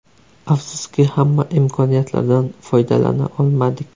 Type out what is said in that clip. Afsuski, hamma imkoniyatlardan foydalana olmadik.